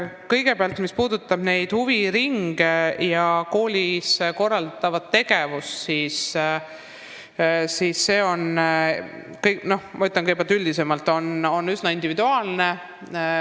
Kõigepealt, mis puudutab huviringe ja koolis korraldatavat tegevust, siis see on üsna individuaalne.